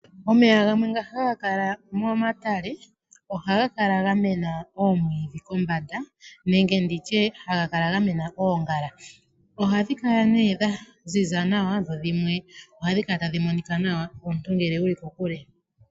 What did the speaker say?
Omeya gamwe nga haga kala momatale ohaga kala ga mena oomwiidhi kombanda nenge nditye haga kala ga mena oongala ohadhi kala nee dha ziza nawa dho dhimwe ohadhi kala tadhi monika nawa omuntu ngele wuli kokule.